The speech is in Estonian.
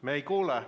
Me ei kuule.